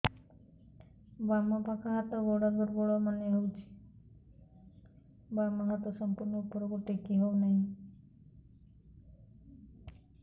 ବାମ ପାଖ ହାତ ଗୋଡ ଦୁର୍ବଳ ମନେ ହଉଛି ବାମ ହାତ ସମ୍ପୂର୍ଣ ଉପରକୁ ଟେକି ହଉ ନାହିଁ